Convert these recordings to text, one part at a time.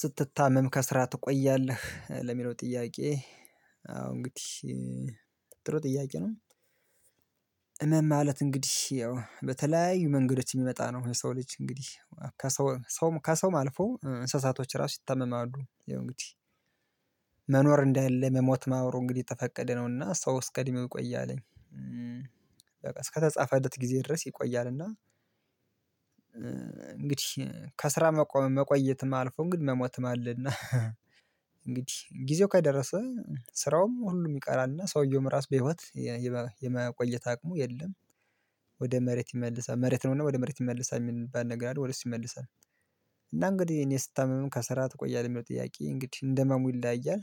ስትታመም ከስራ ትቆያለህ ለሚለው ጥያቄ? አው እንግዲህ ጥሩ ጥያቄ ነው። እመም ማለት እንግዲህ ያው በተለያዩ መንገዶች የሚመጣ ነው። የሰው ልጅ እንግዲህ ከሰው ሰውም ከሰውም አልፎ እንስሳቶች ራሱ ይታመማሉ ይሄ እንግዲህ። መኖር እንዳለ መሞት መኖሩ እንግዲህ የተፈቀደ ነውና ሰው ውስጥ ቀድሜ ቆየ አለኝ። በቃ እስከተጻፈለት ጊዜ ድረስ ይቆያል እና። እንግዲህ ከስራ መቆየትም አልፎ እንግዲህ መሞትም አለና። እንግዲህ ጊዜው ከደረሰ ስራውም ሁሉም ይቀራልና ሰውየውም ራስ በህይወት የመቆየት አቅሙ የለም። ወደ መሬት ይመልሳል መሬት ነውና ወደ መሬት ይመልሳል የሚባል ነገር አለ ወደ እሱ ይመልሳል። እና እንግዲህ እኔ ስታመምም ከስራ ትቆያለህ የሚለው ጥያቄ እንግዲህ እንደመሙ ይላያል።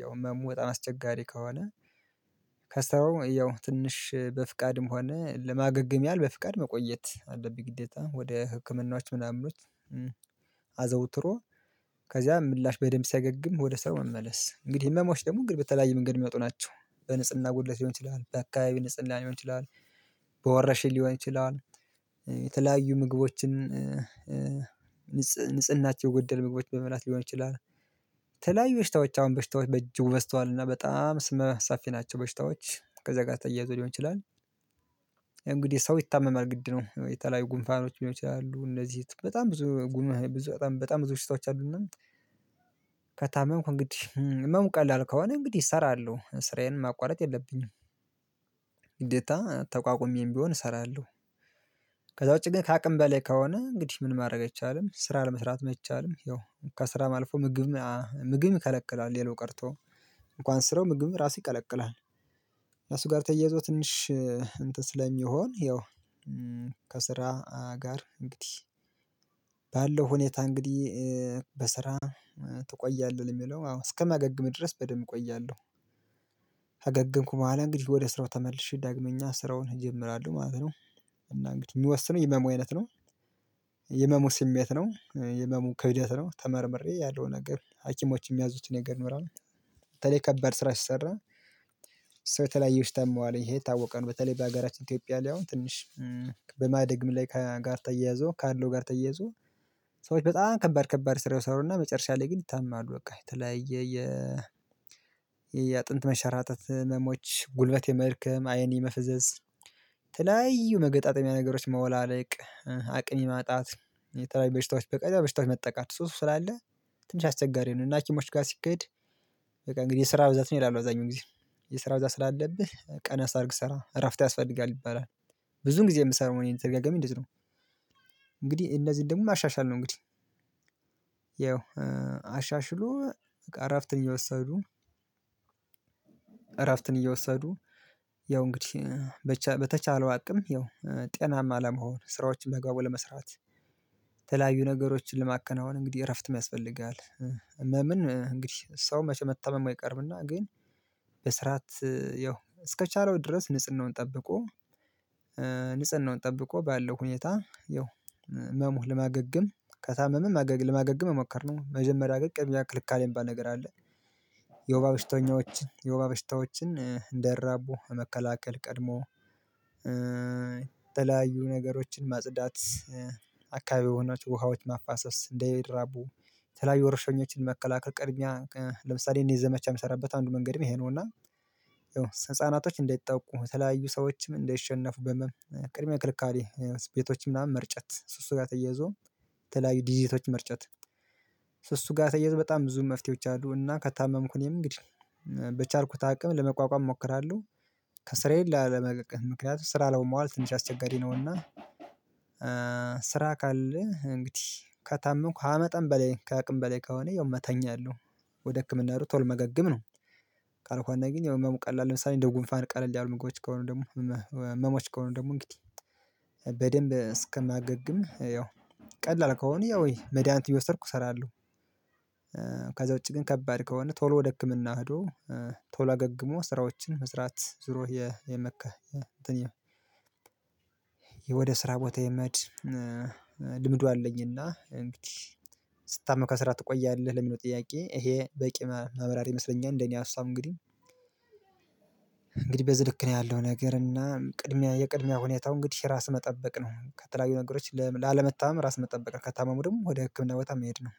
ያው ህመሙ በጣም አስቸጋሪ ከሆነ። ከሰራው ያው ትንሽ በፍቃድም ሆነ ለማገገም ያህል በፍቃድ መቆየት አለብኝ ግዴታ ወደ ህክምናዎች ምናምኑት። አዘውትሮ ከዛ ምላሽ በደንብ ሰገግም ወደ ሰው መመለስ እንግዲህ ህመሞች ደግሞ እንግዲህ በተለያየ መንገድ የሚመጡ ናቸው። በንጽህና ጉድለት ሊሆን ይችላል በአካባቢ ንጽህና ሊሆን ይችላል። በወረሽኝ ሊሆን ይችላል። የተለያዩ ምግቦችን ንጽህናቸው የጎደለ ምግቦች በመብላት ሊሆን ይችላል። ተለያዩ በሽታዎች አሁን በሽታዎች በጅጉ በዝተዋልና በጣም ስመ ሰፊ ናቸው በሽታዎች ከዛ ጋር ተያይዞ ሊሆን ይችላል። እንግዲህ ሰው ይታመማል ግድ ነው የተለያዩ ጉንፋኖች ሊሆኑ ይችላሉ እነዚህ በጣም ብዙ ጉንፋኖች ብዙ በጣም ብዙ በሽታዎች አሉና። ከታመምኩ እንግዲህ ህመም ቀላል ከሆነ እንግዲህ እሰራለሁ ስራዬን ማቋረጥ የለብኝም። ግዴታ ተቋቁሜም ቢሆን እሰራለሁ። ከዛ ውጪ ግን ከአቅም በላይ ከሆነ እንግዲህ ምን ማድረግ አይቻልም ስራ ለመስራት አይቻልም ያው ከስራ ማልፎ ምግብም ምግብ ይከለክላል ሌላው ቀርቶ እንኳን ስራው ምግብ ራሱ ይከለክላል። ለሱ ጋር ተየዞ ትንሽ እንትን ስለሚሆን ይኸው ከስራ ጋር እንግዲህ ባለው ሁኔታ እንግዲህ በስራ ትቆያለህ የሚለው አዎ እስከማገግም ድረስ በደንብ እቆያለሁ። ካገገምኩ በኋላ እንግዲህ ወደ ስራው ተመልሼ ዳግመኛ ስራውን እጀምራለሁ ማለት ነው። እና እንግዲህ የሚወስነው የህመሙ አይነት ነው። የህመሙ ስሜት ነው የህመሙ ክብደት ነው ተመርምሬ ያለው ነገር ሀኪሞች የሚያዙትን ነገር ይኖራል። በተለይ ከባድ ስራ ሲሰራ ሰው የተለያየ በሽታ ያመዋል ይሄ የታወቀ በተለይ በሀገራችን ኢትዮጵያ ላይ አሁን ትንሽ በማደግም ላይ ጋር ተያያዞ ካለው ጋር ተያያዞ ሰዎች በጣም ከባድ ከባድ ስራ ይሰሩና መጨረሻ ላይ ግን ይታመማሉ። በቃ የተለያየ የየአጥንት መንሸራጠት ህመሞች ጉልበት የመድከም አይን የመፈዘዝ የተለያዩ መገጣጠሚያ ነገሮች መወላለቅ አቅም ማጣት የተለያዩ በሽታዎች በተለያዩ በሽታዎች መጠቃት ሱስ ስላለ ትንሽ አስቸጋሪ ነው። እና ሀኪሞች ጋር ሲካሄድ በቃ እንግዲህ ስራ ብዛት ነው ይላል አዛኙን ጊዜ የስራ ብዛት ስላለብህ ቀነስ አድርገህ ስራ እረፍት ያስፈልጋል ይባላል። ብዙ ጊዜ የምሰራው እኔን ተርጋጋሚ እንደዚ ነው። እነዚህን ደግሞ ማሻሻል ነው እንግዲህ ያው አሻሽሎ እረፍትን የወሰዱ እረፍትን እየወሰዱ ያው እንግዲህ በተቻለው አቅም ያው ጤናማ ለመሆን ስራዎችን ባግባቡ ለመስራት። ነገሮችን ለማከናወን እንግዲህ እረፍት የሚያስፈልግህ ህመምን እንግዲህ ሰው መቼ መታመም አይቀርምና ግን በስርዓት ያው እስከቻለው ድረስ ንጽህናውን ጠብቆ ንጽህናውን ጠብቆ ባለው ሁኔታ ያው ህመሙህ ለማገገም ከታመመ ለማገገም መሞከር ነው መጀመሪያ ግን ቅድሚያ መከላከል የሚባል ነገር አለ። የወባ በሽተኞችን የወባ በሽተኞችን እንዳይራቡ መከላከል ቀድሞ የተለያዩ ነገሮችን ማጽዳት አካባቢ የሆኑት ውሃዎች ማፋሰስ እንዳይራቡ የተለያዩ ወርሸኞችን መከላከል ቅድሚያ እኛ ለምሳሌ እኔ ዘመቻ የምሰራበት አንዱ መንገድም ይሄ ነው። እና ያው ህፃናቶች እንዳይጠቁ በተለያዩ ሰዎችም እንደይሸነፉ በህመም ቅድሚያ ክልካሌ ቤቶች ምናምን መርጨት እሱ ጋር ተያይዞ ተለያዩ ዲዲቲዎችን መርጨት። እሱ ጋር ተየዘው በጣም ብዙ መፍትሄዎች አሉና። ከታመምኩ እኔም እንግዲህ በቻልኩት አቅም ለመቋቋም እሞክራለሁ። ከስራዬ ላለመቅረት ምክንያቱም ስራ ለውም መዋል ትንሽ አስቸጋሪ ነውና። ስራ ካለ እንግዲህ ከታመምኩ ከመጠን በላይ ከአቅም በላይ ከሆነ ያው መተኛለሁ። ወደ ህክምና ሩጦ ቶል ማገገም ነው። ካልኳና ግን ያው ህመሙ ቀላል ለምሳሌ እንደ ጉንፋን ቀለል ያሉ ምግቦች ከሆኑ ደግሞ ህመሞች ከሆኑ ደግሞ እንግዲህ በደንብ እስከማገግም ያው ቀላል ከሆነ ያ ወይ መድሃኒት እየወሰድኩ እሰራለሁ። ከዛ ውጪ ግን ከባድ ከሆነ ቶሎ ወደ ህክምና ሄዶ ቶሎ አገግሞ ስራዎችን መስራት ዙሮ የመከህ እንትን የም ወደ ስራ ቦታ የመድ ልምዱ አለኝና። እንግዲህ ስትታመም ከስራ ትቆያለህ ለሚለው ጥያቄ ይሄ በቂ ማብራሪያ ይመስለኛል። እንደኔ ሀሳብ እንግዲህ። እንግዲህ በዝህ ነው ያለው ነገር እና ቅድሚያ የቅድሚያ ሁኔታው እንግዲህ ራስን መጠበቅ ነው ከተለያዩ ነገሮች ላለመታመም ራስ መጠበቅ ከታመሙ ደግሞ ወደ ህክምና ቦታ መሄድ ነው